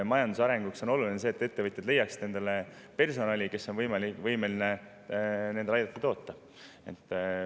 Majanduse arenguks on oluline, et ettevõtjad leiaksid endale personali, kes on võimeline aitama neil toota.